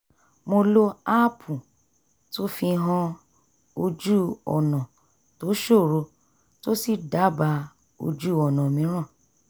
mo lo aápù tó fihan ojú-ọ̀nà tó ṣòro tó sì dábàá ojú-ọ̀nà mìíràn